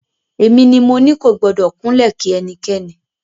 Èmi ni mo ní kò gbọ́dọ̀ kúnlẹ̀ kí ẹnikẹ́ni.